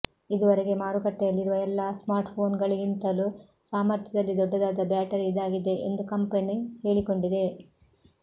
ಇದುವರೆಗೆ ಮಾರುಕಟ್ಟೆಯಲ್ಲಿರುವ ಎಲ್ಲಾ ಸ್ಮಾರ್ಟ್ಫೋನ್ಗಳಿಗಿಂತಲೂ ಸಾಮರ್ಥ್ಯದಲ್ಲಿ ದೊಡ್ಡದಾದ ಬ್ಯಾಟರಿ ಇದಾಗಿದೆ ಎಂದು ಕಂಪನಿ ಹೇಳಿಕೊಂಡಿದೆ